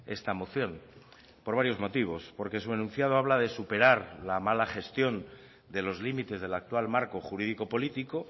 esta moción por varios motivos porque su enunciado habla de superar la mala gestión de los límites del actual marco jurídico político